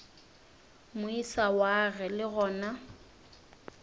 moisa wa ge le gona